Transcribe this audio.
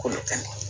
K'olu kɛnɛ